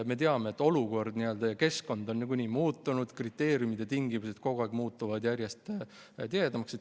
Me teame, et olukord ja keskkond on muutunud, kriteeriumid-tingimused kogu aeg muutuvad järjest nõudlikumaks.